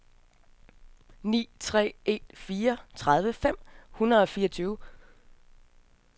ni tre en fire tredive fem hundrede og fireogtyve